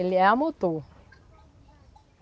Ele é a motor.